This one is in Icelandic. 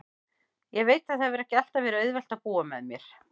Ég veit að það hefur ekki alltaf verið auðvelt að búa með mér.